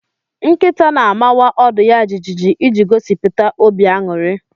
Nkịta na-amawa ọdụ ya jijiji iji gosipụta obi aṅụrị